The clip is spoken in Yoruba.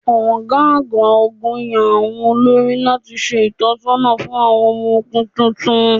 Ọ̀gá àgbà ogún yàn àwọn olórí láti ṣe ìtọ̀sọ́nà fún àwọn ọmọ ogún tuntun.